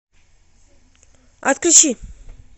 отключи